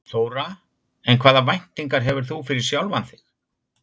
Þóra: En hvaða væntingar hefur þú fyrir sjálfan þig?